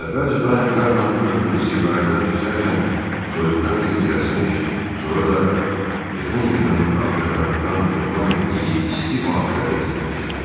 Əvvəlcə daim qarla örtülü zirvələrdən keçərkən soyuqdan tir-tir əsmiş, sonra da yığın-yığın ağcaqanaddan cövlan etdiyi isti vadilərə enmişdilər.